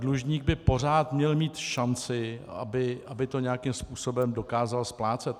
Dlužník by pořád měl mít šanci, aby to nějakým způsobem dokázal splácet.